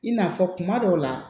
I n'a fɔ kuma dɔw la